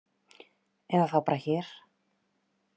Eða þá bara hér.